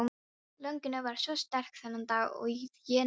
Löngunin var svo sterk þennan dag að ég nötraði.